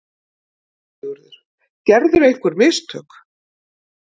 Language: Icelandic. SIGURÐUR: Gerðirðu einhver mistök?